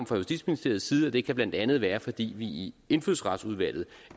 fra justitsministeriets side det kan blandt andet være fordi vi i indfødsretsudvalget